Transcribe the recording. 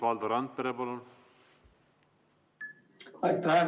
Valdo Randpere, palun!